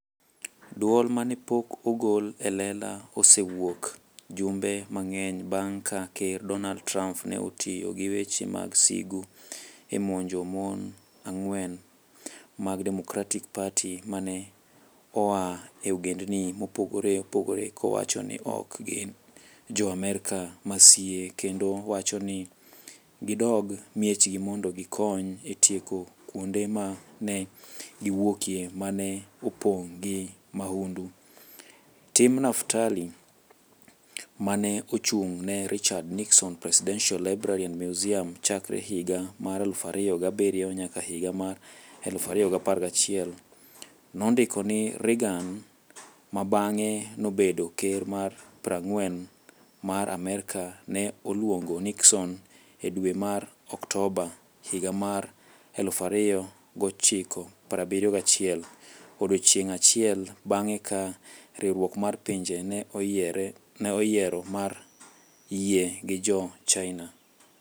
"Dwol ma ne pok ogol e lela osewuok jumbe mang'eny bang' ka Ker Donald Trump ne otiyo gi weche mag sigu e monjo mon ang'wen mag Democratic Party ma ne oa e ogendini mopogore opogore, kowacho ni ok gin Jo-Amerka masie kendo wacho ni "gidog e miechgi mondo gikony e tieko kuonde ma ne giwuokie ma ne opong' gi mahundu. Tim Naftali, ma ne ochung' ne Richard Nixon Presidential Library and Museum chakre higa mar 2007 nyaka higa mar 2011, nondiko ni Reagan - ma bang'e nobedo Ker mar 40 mar Amerka - ne oluongo Nixon e dwe mar Oktoba higa mar 1971, odiechieng' achiel bang' ka Riwruok mar Pinje ne oyiero mar yie gi Jo-China.